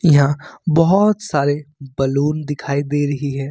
यहां बहोत सारे बलून दिखाई दे रही है।